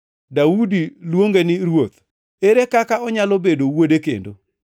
Daudi luonge ni ‘Ruoth.’ Ere kaka onyalo bedo wuode kendo?”